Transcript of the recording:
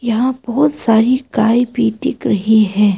यहां बहुत सारी गाय भी दिख रही है।